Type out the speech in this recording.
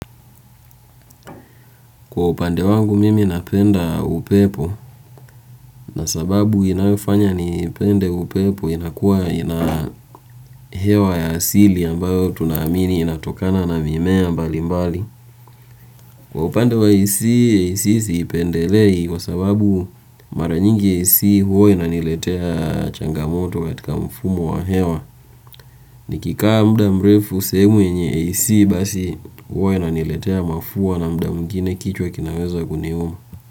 Kwa upande wangu mimi napenda upepo na sababu inayofanya nipende upepo inakuwa ina hewa ya asili ambayo tunaamini inatokana na mimea mbalimbali. Kwa upande wa AC, AC siipendelei kwa sababu mara nyingi AC huwa inaniletea changamoto katika mfumo wa hewa. Nikikaa mda mrefu sehemu yenye AC basi huwa inaniletea mafua na mda mwingine kichwa kinaweza kuniuma.